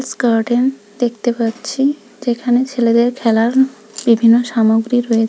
garden দেখতে পাচ্ছি যেখানে ছেলেদের খেলার বিভিন্ন সামগ্রী রয়ে--